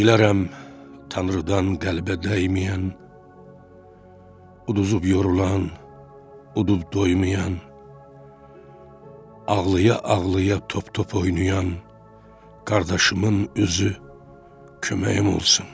Dilərəm Tanrıdan qəlbə dəyməyən, uduzub yorulan, udub doymayan, ağlaya-ağlaya top-top oynayan qardaşımın üzü köməyim olsun.